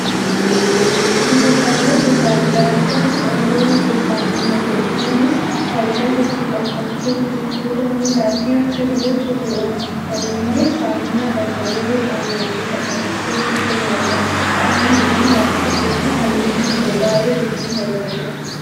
Dibataalee gosoota adda addaatu qaruura keessaan mul'ata. Isaaniis faayidaa hedduu qabu. Fakkeenyaaf, fuula, miilafi harka dibachuuf ni oolu. Kana malees, saamunaa dhangala'oon qaaman dhiqatan as keessatti ni argama. Qaama namaa laaffisuufi fayyummaa gogaa eeguuf ni tajaajilu.